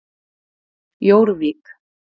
Jórvík